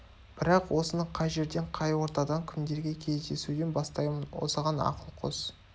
бірақ осыны қай жерден қай ортадан кімдерге кездесуден бастаймын осыған ақыл қос